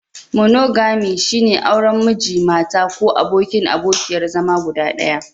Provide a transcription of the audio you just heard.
Monogami, shine auren Miji/Mata ko abokin/abokiyar zama guda ɗaya.